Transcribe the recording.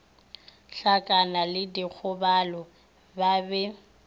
hlakana le dikgobalo ba be